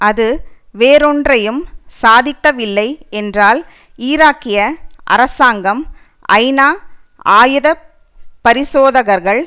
அது வேறொன்றையும் சாதிக்கவில்லை என்றால் ஈராக்கிய அரசாங்கம் ஐநா ஆயுத பரிசோதகர்கள்